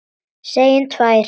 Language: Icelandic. Segjum tvær.